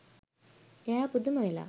එයා පුදුම වෙලා